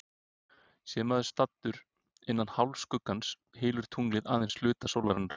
Sé maður staddur innan hálfskuggans, hylur tunglið aðeins hluta sólarinnar.